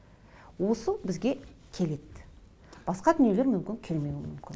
осы бізге келеді басқа дүниелер мүмін келмеуі мүмкін